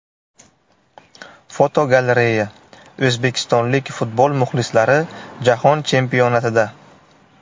Fotogalereya: O‘zbekistonlik futbol muxlislari Jahon Chempionatida.